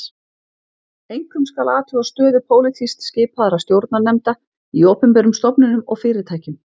Einkum skal athuga stöðu pólitískt skipaðra stjórnarnefnda í opinberum stofnunum og fyrirtækjum.